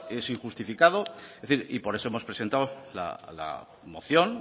es injustificado y por eso hemos presentado la moción